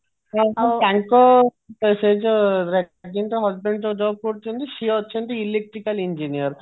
ହଁ ହଁ ତାଙ୍କ ସେ ଯୋଉ husband ଯୋଉ job କରୁଛନ୍ତି ସିଏ ଅଛନ୍ତି electrical engineer